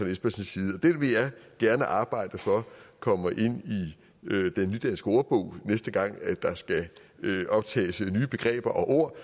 espersens side og det vil jeg gerne arbejde for kommer ind i nudansk ordbog næste gang der skal optages nye begreber og ord